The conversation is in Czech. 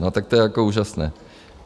No tak to je jako úžasné.